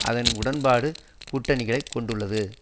அதன் உடன்படும் கூட்டணிகளை கொண்டுள்ளது